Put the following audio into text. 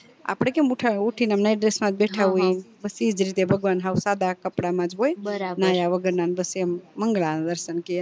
આપડે કેમ ઉઠી ને night dress મજ બેઠા હોઈએ બસ ઇજ રીતે ભગવાન હવ સદા કપડા મજ હોય નયા વગર નાને બસ એમ મંગળા દર્શન કેય